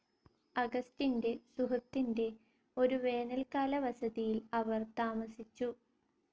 അഗസ്റ്റിന്റെ സുഹൃത്തിന്റെ ഒരു വേനൽക്കാല വസതിയിൽ അവർ താമസിച്ചു.